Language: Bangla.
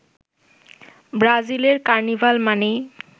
ব্রাজিলের কার্নিভাল মানেই